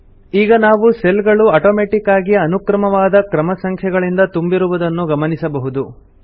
ಈಗ ನಾವು ಸೆಲ್ ಗಳು ಅಟೋಮೆಟಿಕ್ ಆಗಿ ಅನುಕ್ರಮವಾದ ಕ್ರಮ ಸಂಖ್ಯೆಗಳಿಂದ ತುಂಬಿರುವುದನ್ನು ಗಮನಿಸಬಹುದು